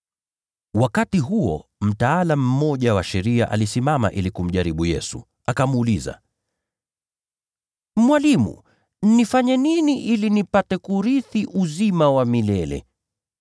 Wakati huo mtaalamu mmoja wa sheria alisimama ili kumjaribu Yesu, akamuuliza, “Mwalimu, nifanye nini ili niurithi uzima wa milele?”